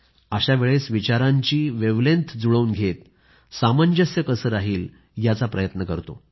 अशा वेळेस विचारांशी जुळवून घेत सामंजस्य कसे राहील याचा प्रयत्न करतो